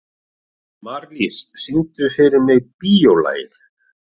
Marlís, syngdu fyrir mig „Bíólagið“.